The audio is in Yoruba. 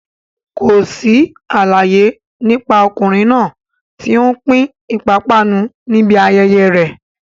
Kò sí àlàyé nípa ọkùnrin náà tí ó ń pín ìpápánu níbi ayẹyẹ rẹ̀.